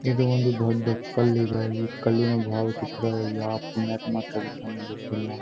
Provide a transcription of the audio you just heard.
ಇದು ಒಂದು ದೊಡ್ಡ ಕಲ್ಲಿದೆ ಈ ಕಲ್ಲಿನ ಭಾವ ಚಿತ್ರ ಯಾವ ಪುಣ್ಯಾತ್ಮ ತೆಗಿತಾನೆ ಗೊತ್ತಿಲ್ಲ.